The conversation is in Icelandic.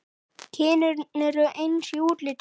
Kynin eru eins í útliti.